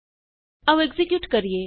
ਆਉ ਐਕਜ਼ੀਕਿਯੂਟ ਕਰੀਏ